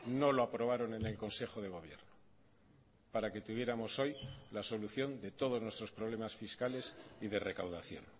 no lo aprobaron en el consejo de gobierno para que tuviéramos hoy la solución de todos nuestros problemas fiscales y de recaudación